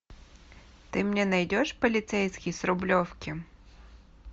ты мне найдешь полицейский с рублевки